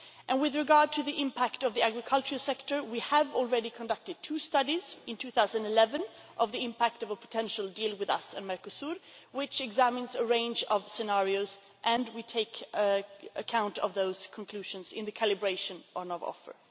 With regard to the impact on the agricultural sector we have already conducted two studies in 2011 on the impact of a potential deal between ourselves and Mercosur which examines a range of scenarios and we take account of those conclusions in the calibration of our offer.